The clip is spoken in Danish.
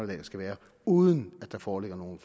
der skal være uden at der foreligger nogen